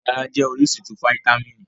Udárá jẹ́ orísun ti fáítámì